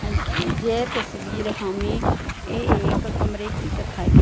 अं अह ये तस्वीर हमें एक कमरे की दिखाई--